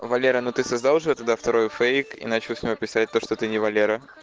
валера ну ты создал же туда второй фейк и начал написать то что ты не валера